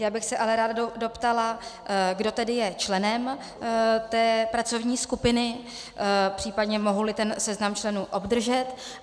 Já bych se ale ráda doptala, kdo tedy je členem té pracovní skupiny, případně mohu-li seznam členů obdržet.